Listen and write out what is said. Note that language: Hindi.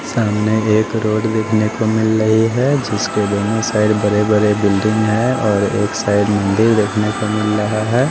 सामने एक रोड देखने को मिल रही है जिसके दोनों साइड बड़े बड़े बिल्डिंग है और एक साइड मंदिर देखने को मिल रहा है।